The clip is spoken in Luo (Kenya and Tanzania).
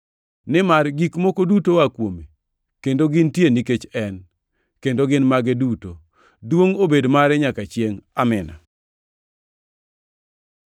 Nimar gik moko duto oa kuome, kendo gintie nikech en, kendo gin mage duto. Duongʼ obed mare nyaka chiengʼ! Amin.